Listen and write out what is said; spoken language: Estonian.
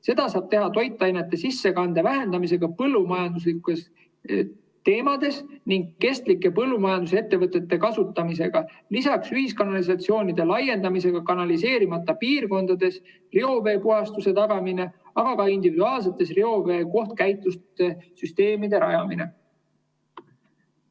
Seda saab teha põllumajandusest toitainete sissekande vähendamisega ning kestlike põllumajandusettevõtete kasutamise abil, lisaks ühiskanalisatsioonide laiendamisega, kanaliseerimata piirkondades reoveepuhastuse tagamisega, aga ka individuaalsete reovee kohtkäitlussüsteemide rajamisega.